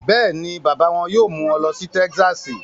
Bẹ́ẹ̀ ni, bàbá wọn yóò mú wọn lọ sí Texas